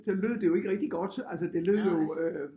Det lød det jo ikke rigtig godt altså det lød jo øh